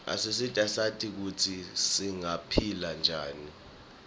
asisita sati kutsi singaphila njani